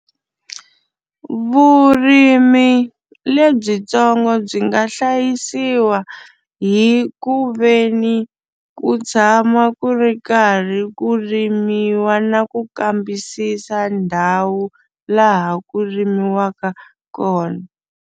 Vurimi lebyitsongo byi nga hlayisiwa hi ku ve ni ku tshama ku ri karhi ku rimiwa na ku kambisisa ndhawu laha ku rimiwaka kona.